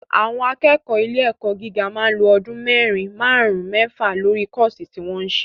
Àwọn akẹ́kọ̀ọ́ ilé ẹ̀kọ́ gíga máa ń lo ọdún mẹ́rin, máàrún, mẹ́fa lórí kọ́ọ̀sí tí wọ́n ń se